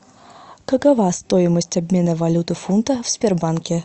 какова стоимость обмена валюты фунта в сбербанке